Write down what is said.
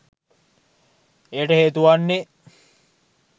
එයට හේතුවන්නේ